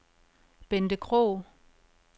Bente Krog